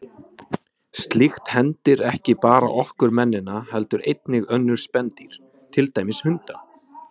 Slíkt hendir ekki bara okkur mennina heldur einnig önnur spendýr, til dæmis hunda.